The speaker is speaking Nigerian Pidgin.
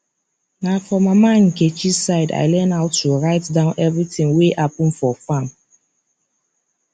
na for mama nkechi side i learn how to write down everything wey happen for farm